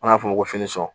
An b'a f'o ma ko